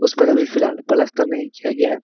उसे पर अभी फिलहाल प्लास्टर नहीं किया गया है।